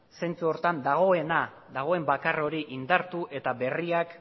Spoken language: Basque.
zentzu horretan dagoen bakar hori indartu eta berriak